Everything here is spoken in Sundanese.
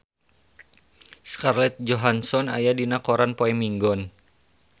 Scarlett Johansson aya dina koran poe Minggon